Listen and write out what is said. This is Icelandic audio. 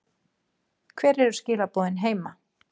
Hver eru skilaboðin heima?